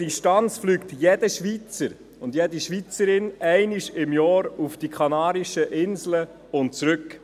Distanzmässig fliegt jeder Schweizer und jede Schweizerin einmal pro Jahr auf die Kanarischen Inseln und zurück.